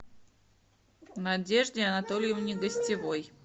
надежде анатольевне гостевой